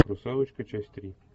русалочка часть три